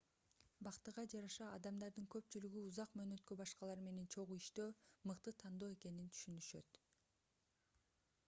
бактыга жараша адамдардын көпчүлүгү узак мөөнөткө башкалар менен чогуу иштөө мыкты тандоо экенин түшүнүшөт